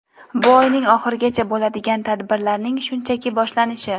bu oyning oxirigacha bo‘ladigan tadbirlarning shunchaki boshlanishi.